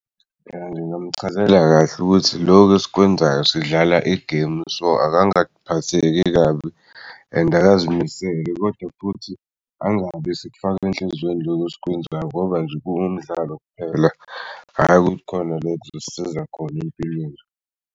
Phela ngingamchazela kahle ukuthi lokhu esikwenzayo sidlala igemu, so akangaphatheki kabi and akazimisele kodwa futhi angabi sefake enhlizweni loko esikwenzayo ngoba nje kuwumdlalo kuphela, hhayi ukuthi khona la kuzosisiza khona empilweni.